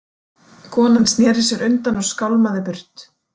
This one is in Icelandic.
Konan sneri sér undan og skálmaði burt.